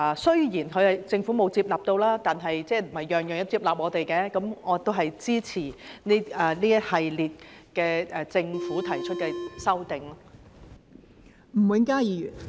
雖然政府沒有接納，但不是我們每項意見政府都會接納，我亦都支持這一系列政府提出的修正案。